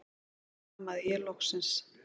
stamaði ég loksins.